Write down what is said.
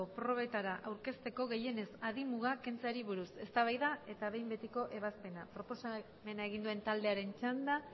probetara aurkezteko gehienez adin muga kentzeari buruz eztabaida eta behin betiko ebazpena proposamena egin duen taldearen txanda